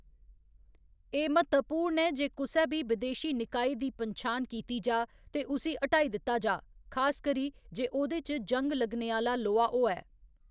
एह्‌‌ म्हत्तवपूर्ण ऐ जे कुसै बी बिदेशी निकाय दी पन्छान कीती जाऽ ते उसी हटाई दित्ता जाऽ, खासकरी जे ओह्‌‌‌‌दे च जंग लग्गने आह्‌‌‌ला लोहा होऐ।